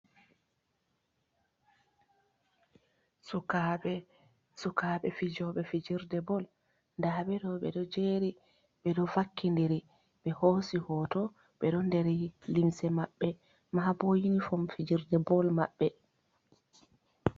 Sukaɓe fijoɓe fijirde bal nda ɓe ɗo ɓeɗo jeri ɓeɗo vakkidiri ɓe hosi hoto. Ɓeɗo nder limse maɓɓe maa bo uniform fijirde bol maɓɓe.